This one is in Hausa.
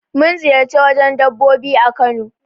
Mun ziƴarci wajen dabbobi a Kano.